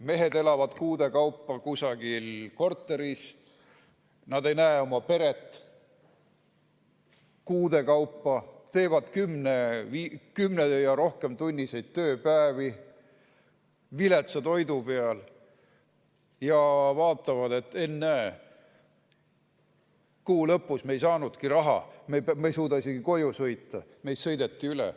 Mehed elavad kuude kaupa kusagil korteris, ei näe oma peret kuude kaupa, teevad kümnetunniseid ja pikemaid tööpäevi, on viletsa toidu peal ja vaatavad: ennäe, kuu lõpus me ei saanudki raha, me ei suuda isegi koju sõita, meist sõideti üle.